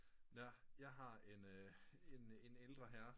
Nå jeg har en ældre herre